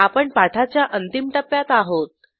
आपण पाठाच्या अंतिम टप्प्यात आहोत